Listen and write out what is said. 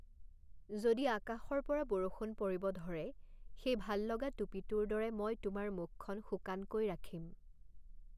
যদি আকাশৰ পৰা বৰষুণ পৰিব ধৰে, সেই ভাল লগা টুপীটোৰ দৰে মই তোমাৰ মুখখন শুকানকৈ ৰাখিম৷